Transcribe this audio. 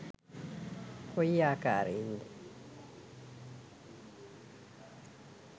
කොයි ආකාරයෙන්ද?